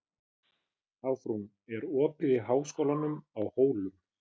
Ásrún, er opið í Háskólanum á Hólum?